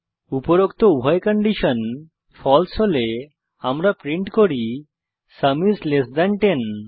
উপরোক্ত উভয় condition false হলে আমরা প্রিন্ট করি সুম আইএস লেস থান 10